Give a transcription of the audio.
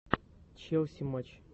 челси матч